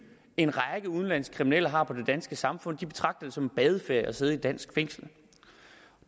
en række udenlandske kriminelle har på det danske samfund og de betragter det som en badeferie at sidde i et dansk fængsel